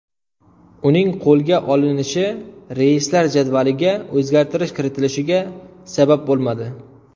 Uning qo‘lga olinishi reyslar jadvaliga o‘zgartirish kiritilishiga sabab bo‘lmadi.